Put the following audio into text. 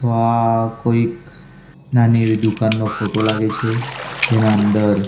આ કોઈક નાની એવી દુકાનનો ફોટો લાગે છે જેના અંદર--